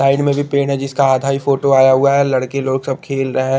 Side में भी पेड़ है जिसका आधा ही फोटो आया हुआ है लड़के लोग सब खेल रहे है।